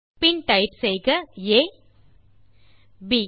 பின் ஆ பின் ப்